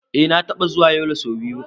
Eh na taɓa zuwa Yola so biyu.